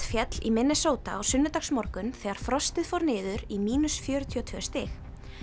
féll í Minnesota á sunnudagsmorgun þegar frostið fór niður í fjörutíu og tvö stig